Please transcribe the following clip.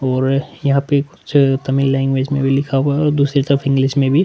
और यहाँ पे कुछ तमिल लैंग्वेज में भी लिखा हुआ है और दूसरी तरफ़ बीच में भी --